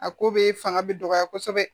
A ko be fanga be dɔgɔya kɔsɛbɛ